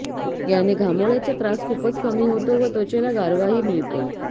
याने घामोळ्याचा त्रास खूपच कमी होतो व त्वचेला गारवाही मिळतो